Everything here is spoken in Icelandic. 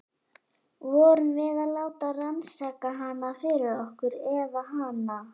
Vorum við að láta rannsaka hana fyrir okkur- eða hana?